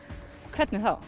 hvernig þá